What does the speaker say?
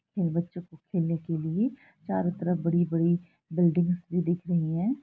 इन बच्चों के खेलने के लिए चारो तरफ बड़ी-बड़ी बिल्डिंग्स भी दिख रही है।